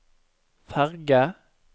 ferge